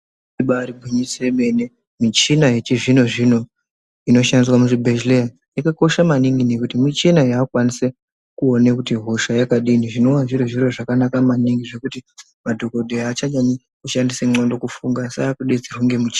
Ibari gwinyiso yemene michina yechizvino zvino inoshandiswa muzvibhehleya yakakosha maningi nekuti michina yakukwanise kuone kuti hosha yakadini zvinowa zviri zviro zvakanaka maningi zvekuti madhokodheya achanyanyi kushandisa ndxondo kufunga asi akudetserwa ngemichini.